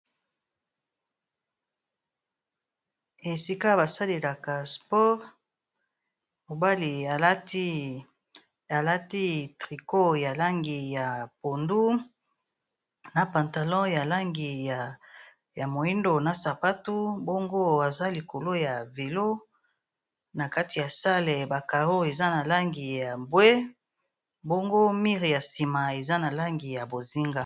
esika basalelaka sport mobali alati trico ya langi ya pondu na pantalon ya langi ya moindo na sapatu bongo aza likolo ya vilo na kati ya sale bacaro eza na langi ya bwe bongo mire ya nsima eza na langi ya bozinga